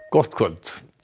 gott kvöld